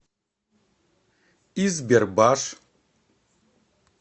избербаш